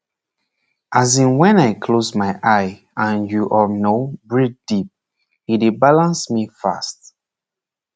as in when i close my eye and you um know breathe deep e dey balance me fast